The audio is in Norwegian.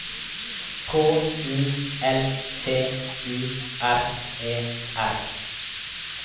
K U L T U R E R